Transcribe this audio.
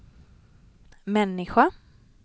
människa